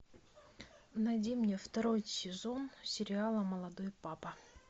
найди мне второй сезон сериала молодой папа